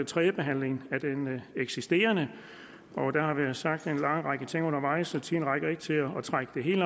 tredje behandling af den eksisterende sag der har været sagt en lang række ting undervejs og tiden rækker ikke til at trække det hele